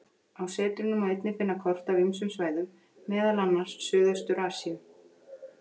Á setrinu má einnig finna kort af ýmsum svæðum, meðal annars Suðaustur-Asíu.